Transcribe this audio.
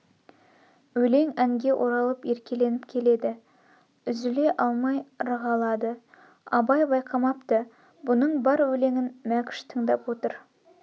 өлең әнге оралып еркеленп келеді үзле алмай ырғалады абай байқамапты бұның бар өлеңін мәкш тыңдап отыр